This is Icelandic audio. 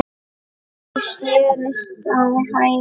Ég snerist á hæli.